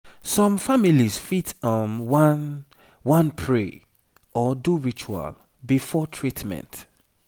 some families fit um wan wan pray or do ritual before treatment